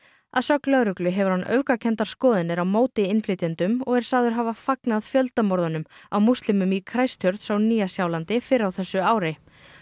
að sögn lögreglu hefur hann öfgakenndar skoðanir á móti innflytjendum og er sagður hafa fagnað fjöldamorðum á múslimum í Christchurch á Nýja Sjálandi fyrr á þessu ári